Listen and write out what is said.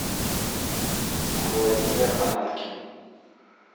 владимир ананкин